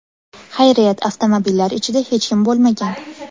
Xayriyat, avtomobillar ichida hech kim bo‘lmagan.